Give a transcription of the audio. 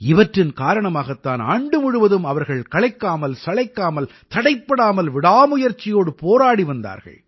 இவற்றின் காரணமாகத் தான் ஆண்டு முழுவதும் அவர்கள் களைக்காமல் சளைக்காமல் தடைப்படாமல் விடாமுயற்சியோடு போராடி வந்தார்கள்